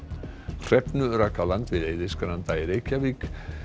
hrefnu rak á land við Eiðisgranda í Reykjavík